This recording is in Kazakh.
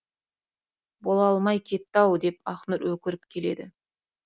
бола алмай кетті ау деп ақнұр өкіріп келеді